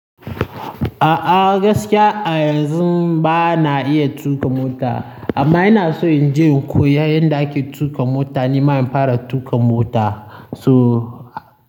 A'a gaskiya a yanzun ba na iya tuƙa mota. Amma ina so in je in koya yadda ake tuƙa mota ni ma in fara tuƙa mota. So.